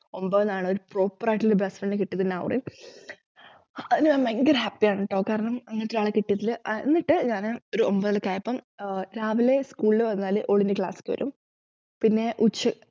ഒമ്പതിൽ ന്നാണ് ഒരു proper ആയിട്ടുള്ള best friend നെ കിട്ടിയത് നൗറിൻ അതിൽ ഞാൻ ഭയങ്കര happy യാണ് ട്ടോ കാരണം അങ്ങനത്തെ ഒരാളെ കിട്ടിയതിൽ ആഹ് എന്നിട്ട് ഞാന് ഒമ്പതിൽ ഒക്കെയായപ്പോൾ ആഹ് രാവിലെ school ൽ വന്നാലും ഒളിൻറെ class കേറും പിന്നെ ഉച്ച